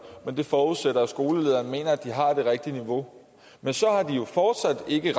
det forudsætter at skolelederen mener at børnene har det rigtige niveau men så har de jo fortsat ikke